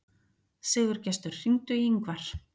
Sigurgestur, hringdu í Yngvar.